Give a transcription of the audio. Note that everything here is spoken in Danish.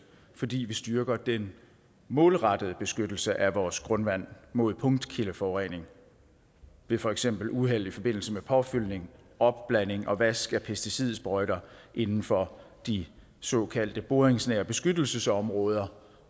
fordi vi styrker den målrettede beskyttelse af vores grundvand mod punktkildeforurening ved for eksempel uheld i forbindelse med påfyldning opblanding og vask af pesticidsprøjter inden for de såkaldte boringsnære beskyttelsesområder